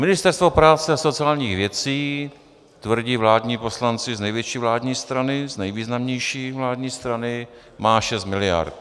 Ministerstvo práce a sociálních věcí, tvrdí vládní poslanci z největší vládní strany, z nejvýznamnější vládní strany, má 6 miliard.